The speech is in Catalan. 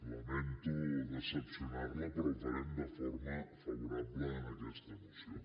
lamento decebre la però ho farem de forma favorable a aquesta moció